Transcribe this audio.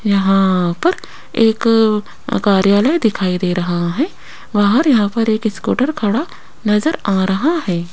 यहां पर एक कार्यालय दिखाई दे रहा है। बाहर यहां पर एक स्कूटर खड़ा नजर आ रहा है।